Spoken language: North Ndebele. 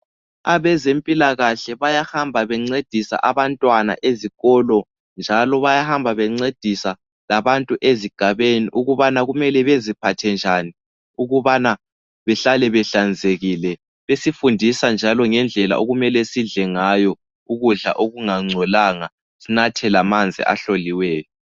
Abezempilakahle bayahamba bengcedisa abantwana ezikolo njalo bayahamba bengcedisa labantu ezigabeni ukubana kumele beziphathe njani ukubana behlale behlanzekile besifundisa ngendlela okumele sidle ngayo ukudla okungangcolanga sinathe lamanzi ahloliweyo